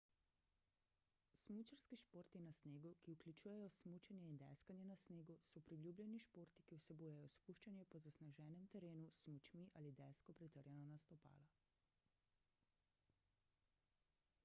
smučarski športi na snegu ki vključujejo smučanje in deskanje na snegu so priljubljeni športi ki vsebujejo spuščanje po zasneženem terenu s smučmi ali desko pritrjeno na stopala